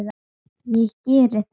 Ég geri það